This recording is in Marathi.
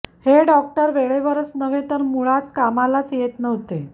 हे डॉक्टर वेळेवरच नव्हे तर मुळात कामालाच येत नव्हते